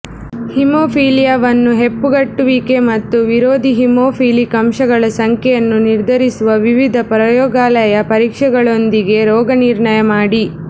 ಹೆಮೊಫಿಲಿಯಾವನ್ನು ಹೆಪ್ಪುಗಟ್ಟುವಿಕೆ ಮತ್ತು ವಿರೋಧಿ ಹಿಮೋಫಿಲಿಕ್ ಅಂಶಗಳ ಸಂಖ್ಯೆಯನ್ನು ನಿರ್ಧರಿಸುವ ವಿವಿಧ ಪ್ರಯೋಗಾಲಯ ಪರೀಕ್ಷೆಗಳೊಂದಿಗೆ ರೋಗನಿರ್ಣಯ ಮಾಡಿ